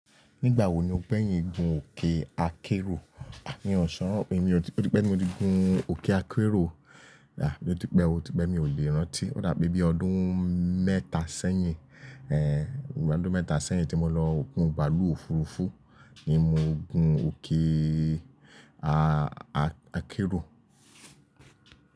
Nígbà wo ni o pẹ́yìn gun òkè akérò? À mí ọ̀ṣọ́, ó ti pẹ́ tí mo ti gun òkè akérò. Ó ti pẹ́ o, ó ti pẹ́, mi ò lè rántí. Ó dà pé bí ọdún mẹ́ta sẹ́yìn, bí ọdún mẹ́ta sẹ́yìn tí mo lọ gun bààlúù òfuurufú ni mo gun òkè akérò.